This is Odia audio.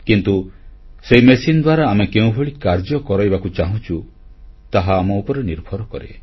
କିନ୍ତୁ ସେହି ମେସିନ ଦ୍ୱାରା ଆମେ କେଉଁଭଳି କାର୍ଯ୍ୟ କରାଇବାକୁ ଚାହୁଁଛୁ ତାହା ଆମ ଉପରେ ନିର୍ଭର କରେ